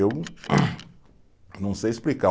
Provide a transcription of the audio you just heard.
Eu não sei explicar.